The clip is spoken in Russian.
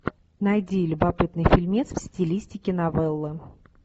найди любопытный фильмец в стилистике новелла